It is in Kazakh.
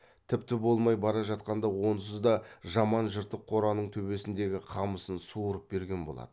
тіпті болмай бара жатқанда онсыз да жаман жыртық қораның төбесіндегі қамысын суырып берген болады